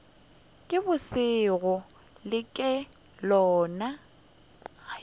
ke bošego le ke lona